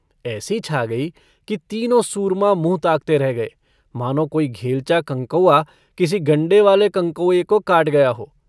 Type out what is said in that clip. ऐसी छा गई कि तीनों सूरमा मुंह ताकते रह गए, मानों कोई घेलचा कंकौआ किसी गण्डेवाले कंकौए को काट गया हो।